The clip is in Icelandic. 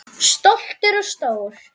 Stoltur og stór.